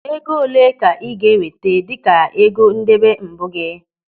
Ego olee ka ị ga-eweta dịka ego ndebe mbụ gị?